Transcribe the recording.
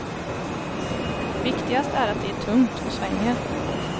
Viktigast är att det är tungt och svänger.